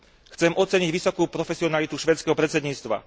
Chcem oceniť vysokú profesionalitu švédskeho predsedníctva.